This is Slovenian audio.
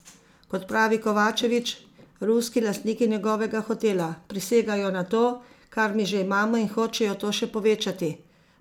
Kot pravi Kovačevič, ruski lastniki njegovega hotela: "Prisegajo na to, kar mi že imamo in hočejo to še povečati.